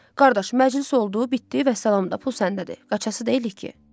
Qardaş, məclis oldu, bitdi, vəssalam da, pul səndədir, qaçası deyilik ki.